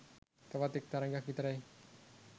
තවත් එක් තරගයක් විතරයි